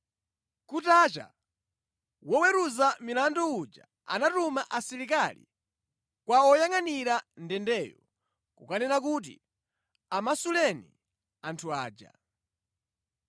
Kutacha, woweruza milandu uja anatuma asilikali kwa woyangʼanira ndendeyo kukanena kuti, “Amasuleni anthu aja.”